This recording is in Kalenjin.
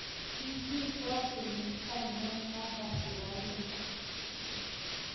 Kisirto kenyit ainon Papa Shirandula